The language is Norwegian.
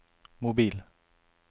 mobil